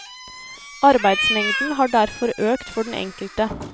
Arbeidsmengden har derfor økt for den enkelte.